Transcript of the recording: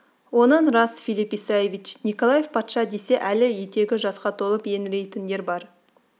оның рас филипп исаевич николай патша десе әлі етегі жасқа толып еңірейтіндер бар